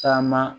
Caman